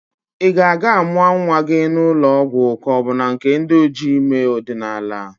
Ị ga-aga amụa nnwa gị na ụlọ ọgwọ ka ọ bu na nke ndi ojii ime ọdinaala?